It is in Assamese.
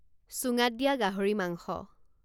চুঙাত দিয়া গাহৰি মাংস